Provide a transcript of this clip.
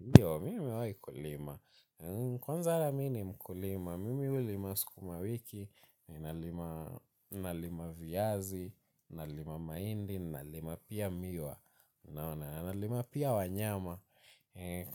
Ndio, mimi nimewai kulima. Kwanza hata mini mkulima, mimi ulima sikuma wiki, nalima viazi, nalima maindi, nalima pia miwa, nalima pia wanyama.